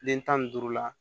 Den tan ni duuru la